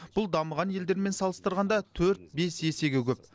бұл дамыған елдермен салыстырғанда төрт бес есеге көп